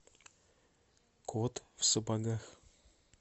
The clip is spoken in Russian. кот в сапогах